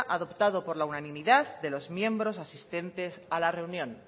adoptado por la unanimidad de los miembros asistentes a la reunión